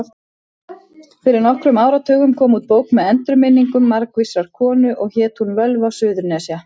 Fyrir nokkrum áratugum kom út bók með endurminningum margvísrar konu og hét hún Völva Suðurnesja.